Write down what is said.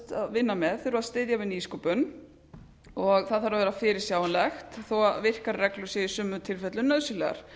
vinna með þurfa að styðja við nýsköpun það þarf að vera fyrirsjáanlegt þó virkar reglur séu í sumum tilfellum nauðsynlegar